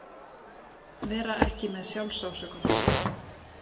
Vera ekki með SJÁLFSÁSÖKUN